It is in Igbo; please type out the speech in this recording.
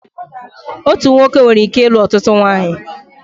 Otu nwoke nwereike ilu ọtụtụ ụmụnwaanyị